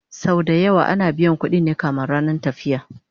Sau da yawa ana biyan ƙuɗin ne kamin rannan tafiya